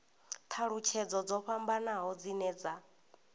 thalutshedzo dzo fhambanaho dzine dza